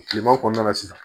Kileman kɔnɔna la sisan